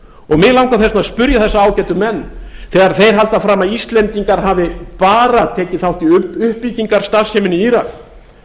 og mig langar þess vegna að spyrja þessa ágætu menn þegar þeir halda fram að íslendingar hafi bara tekið þátt í uppbyggingarstarfseminni í írak